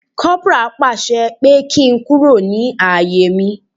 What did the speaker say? Kopara pàṣẹ pé kí n kúrò ní àyè mi